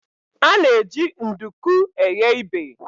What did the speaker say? A na-eji nduku eghe ibè.